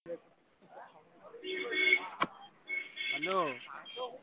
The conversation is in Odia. Hello ।